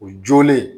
O jolen